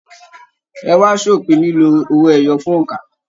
Ẹ wa s'opin lilo owó ẹyọ fún óńka!